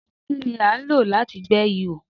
Dígà ni à ń lò láti gbẹ́ ihò.